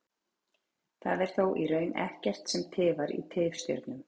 það er þó í raun ekkert sem tifar í tifstjörnum